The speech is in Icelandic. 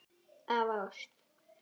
Af ást.